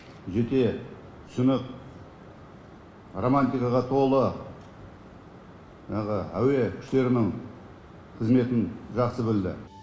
жете түсініп романтикаға толы жаңағы әуе күштерінің қызметін жақсы білді